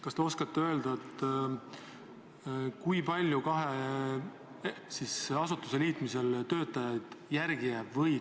Kas te oskate öelda, kui palju kahe asutuse liitmisel töötajaid järele jääb?